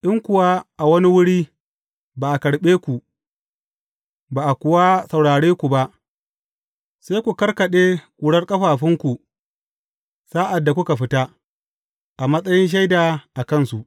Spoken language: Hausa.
In kuwa a wani wuri ba a karɓe ku, ba a kuwa saurare ku ba, sai ku karkaɗe ƙurar ƙafafunku sa’ad da kuka fita, a matsayin shaida a kansu.